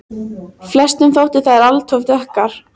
Flestum þótti þær alt of dökkar.